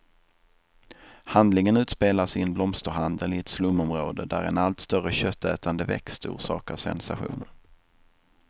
Handlingen utspelas i en blomsterhandel i ett slumområde, där en allt större köttätande växt orsakar sensation.